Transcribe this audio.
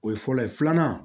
O ye fɔlɔ ye filanan